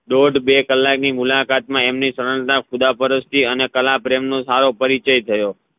દોડ બે કલાકની મુલાકાત મા એમની શરણતા ખુદાપરસ્તી અને કલાપ્રેમ નો સારો પરિચય થયો